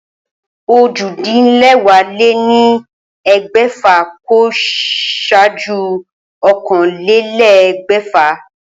Ojì-dín-léwàá-lé-ní-egbèfà kò sáájú ókànlélé̩gbè̩fà